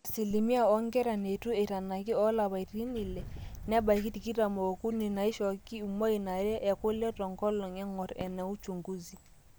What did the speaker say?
asilimia oonkera neitu eitanaki oolapaitin ile nebaiki tikitam ookuni naaishooki imwain are ekule tenkolong eng'or ena uchungusi